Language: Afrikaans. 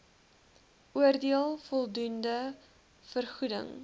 oordeel voldoende vergoeding